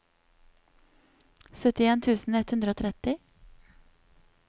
syttien tusen ett hundre og tretti